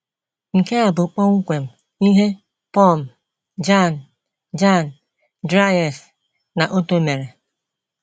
Nke a bụ kpọmkwem ihe Pum, Jan,, Jan, Dries, na Otto mere.